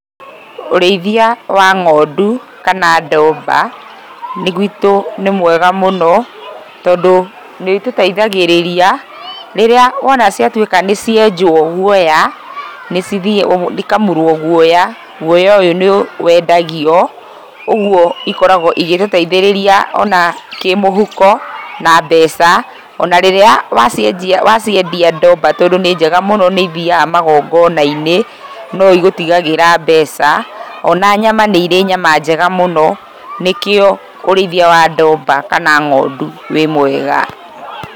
Ũrĩithia wa ng'ondu, kana ndomba, gwitũ nĩ mwega mũno, tondũ nĩũtũteithagĩrĩria, rĩrĩa wona ciatwĩka nĩcienjwo, guoya, nĩcithi ikamunyũrwo guoya, guoya ũyũ nĩ, wendagio, ũguo, ikoragwo igĩtũteithĩrĩria ona kĩmũhuko, na mbeca, ona rĩrĩa wacinjia waciendia ndomba tondũ ninjega mũno nĩithiaga magongona-inĩ, noigũtigagĩra mbeca, ona nyama nĩirĩ nyama njega mũno, nĩkĩo, ũrĩithia wa ndomba kana ng'ondu wĩ mwega.